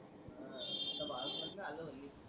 बस न आलो पण मी